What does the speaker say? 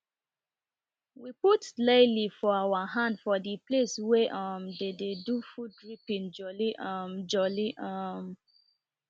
we put laili for our hand for de palce wey um dey de do food reaping joli um joli um